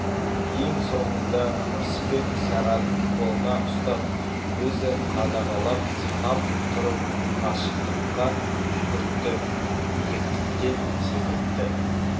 ең соңында рысбек сағатын қолына ұстап өзі қадағалап санап тұрып қашықтыққа жүгіртті биіктіктен секіртті